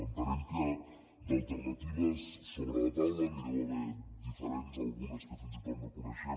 entenem que d’alternatives sobre la taula n’hi deu haver diferents algunes que fins i tot no coneixem